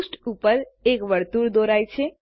પૃષ્ઠ ઉપર એક વર્તુળ દોરાય છે